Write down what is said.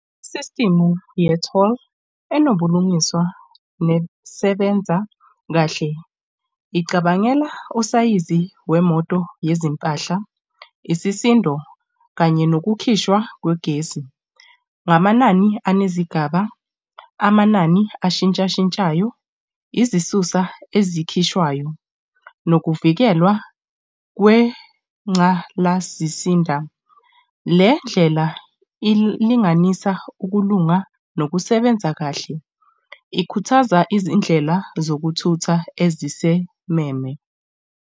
Isistimu ye-toll enobulungiswa nokusebenza kahle, icabangela usayizi wemoto yezimpahla, isisindo, kanye nokukhishwa kwegesi ngamanani anezigaba, amanani ashintsha shintshayo, izisusa ezikhishwayo nokuvikelwa kwenqgalazisinda. Le ndlela ilinganisa ukulunga nokusebenza kahle, ikhuthaza izindlela zokuthutha ezisememe.